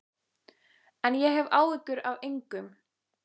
En ég hef áhyggjur af engum.